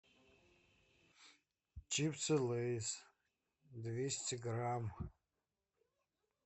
чипсы лейз двести грамм